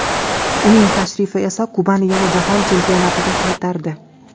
Uning tashrifi esa Kubani yana Jahon Chempionatiga qaytardi.